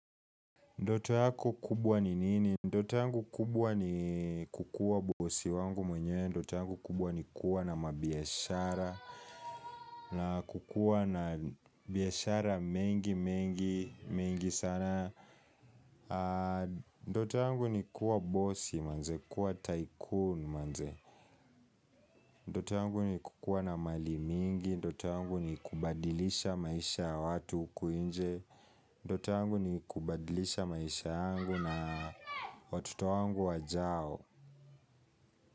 Ndoto yako kubwa ni nini? Ndoto yangu kubwa ni kukuwa bosi wangu mwenyewe. Ndoto yangu kubwa ni kuwa na mabiashara. Na kukuwa na biashara mengi mengi mengi sana. Ndoto yangu ni kuwa bosi manze kuwa tycoon manze Ndoto yangu ni kukuwa na mali mingi Ndoto yangu ni kubadilisha maisha ya watu huku nje Ndoto yangu ni kubadilisha maisha yangu na watoto wangu wajao.